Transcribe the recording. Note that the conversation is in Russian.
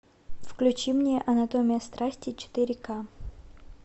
включи мне анатомия страсти четыре ка